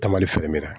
Ta mali filɛ min na